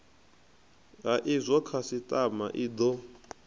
ha izwo khasitama i do